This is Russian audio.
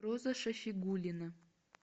роза шафигулина